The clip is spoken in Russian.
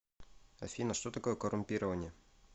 афина что такое коррумпирование